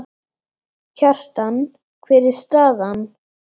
Kjartan, hver er staðan?